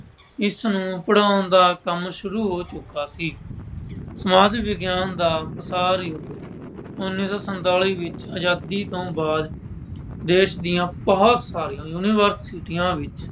ਇਸਨੂੰ ਪੜ੍ਹਾਉਣ ਦਾ ਕੰਮ ਸ਼ੁਰੂ ਹੋ ਚੁੱਕਿਆ ਸੀ। ਸਮਾਜ ਵਿਗਿਆਨ ਦਾ ਯੁੱਗ। ਉੱਨ੍ਹੀਂ ਸੌ ਸੰਤਾਲੀ ਵਿੱਚ ਆਜ਼ਾਦੀ ਤੋਂ ਬਾਅਦ ਦੇਸ਼ ਦੀਆਂ ਬਹੁਤ ਸਾਰੀਆਂ universities ਵਿੱਚ